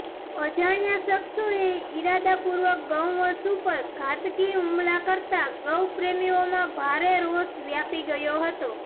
અજાણ્યા શખ્સોએ ઈરાદા પૂર્વક ગૌવંશ ઉપર ઘાતકી હુમલા કરતા ગૌપ્રેમીઓમાં ભારે રોષ વ્યાપી ગયો હતો